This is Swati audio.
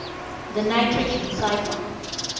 the nitrogen cycle